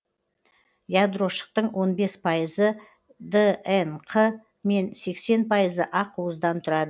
ядрошықтың он бес пайызы днқ мен сексен пайызы ақуыздан тұрады